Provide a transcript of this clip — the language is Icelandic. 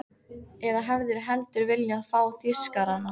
Eða hefðirðu heldur viljað fá Þýskarana?